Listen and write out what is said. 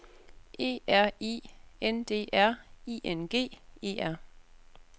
E R I N D R I N G E R